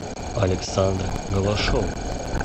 александр голошов